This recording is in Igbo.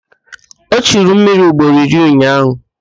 O churu mmiri ugboro iri ụnyaahụ